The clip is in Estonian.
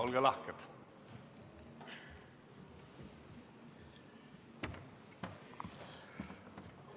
Olge lahke!